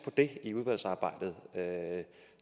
det i udvalgsarbejdet